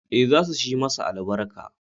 Ee, za su shi masa albarka